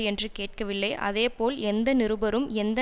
என்று கேட்கவில்லை அதே போல் எந்த நிருபரும் எந்த